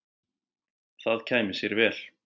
Það kæmi sér vel.